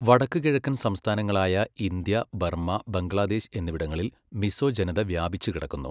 വടക്കുകിഴക്കൻ സംസ്ഥാനങ്ങളായ India, Burma, Bangladesh എന്നിവിടങ്ങളിൽ മിസോ ജനത വ്യാപിച്ചുകിടക്കുന്നു.